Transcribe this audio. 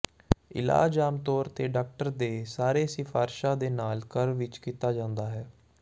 ਇਲਾਜ ਆਮ ਤੌਰ ਤੇ ਡਾਕਟਰ ਦੇ ਸਾਰੇ ਸਿਫ਼ਾਰਸ਼ਾਂ ਦੇ ਨਾਲ ਘਰ ਵਿੱਚ ਕੀਤਾ ਜਾਂਦਾ ਹੈ